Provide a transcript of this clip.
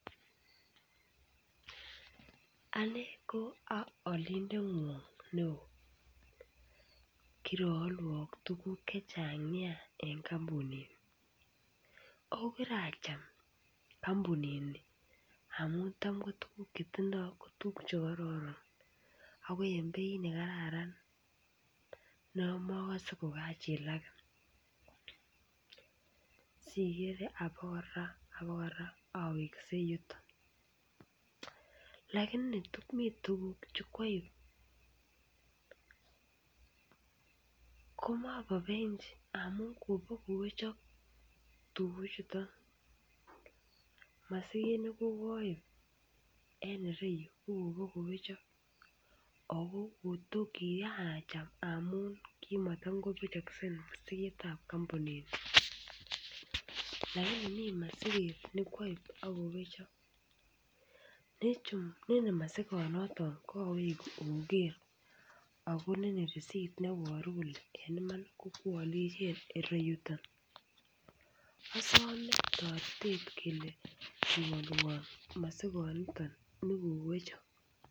Ane ko o olindengwong neo kiroolwok tuguk chechang Nia en kompunini o kiracham kompunini amun tam ko tuguk chetindoi ko tuguk chekororon ako en beit nekararan nomokose kokajilage sikere abakora obagora aweksei yuton lakini mituguk chekoib komoboiboenji amun kobokowechok tuguchuton mosiget nekokoib en ireyu kokobokowechok ago kotokiraajam amun kimatamkowejoksei mosigetab kompunini lakini mi mosiget nakooib akokibogowechok nini mosokonoton koowegu ogeere ako nini risit neiboru kole en Iman kokoolosien yuton osome toretet ale kewolwon mosigoniton nekowechok